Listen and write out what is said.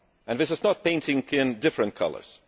This is not painting in different colours